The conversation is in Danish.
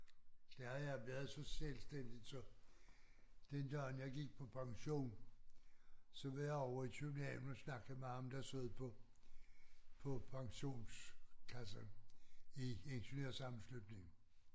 Der havde jeg været så selvstændigt så den dag jeg gik på pension så var jeg ovre i København og snakke med ham der sad på på pensionskassen i ingeniørsammenslutning